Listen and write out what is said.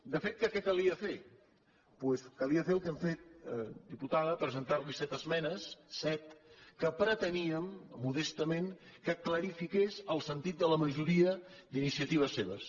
de fet què calia fer doncs calia fer el que hem fet diputada presentar·li set esmenes set que pretení·em modestament que clarifiqués el sentit de la majoria d’iniciatives seves